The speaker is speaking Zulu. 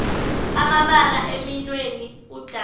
amabala eminweni udala